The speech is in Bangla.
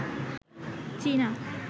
চীনা